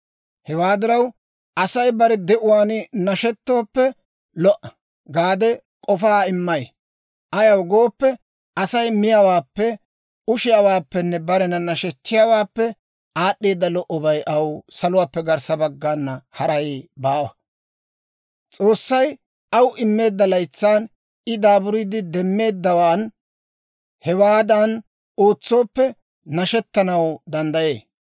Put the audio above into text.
Hewaa diraw, Asay bare de'uwaan nashetooppe lo"a gaade k'ofaa immay; ayaw gooppe, Asay miyaawaappe, ushiyaawaappenne barena nashechchiyaawaappe aad'd'eeda lo"obay aw saluwaappe garssa baggana haray baawa. S'oossay aw immeedda laytsan I daaburiide demmeeddawaan hewaadan ootsooppe, nashetanaw danddayee.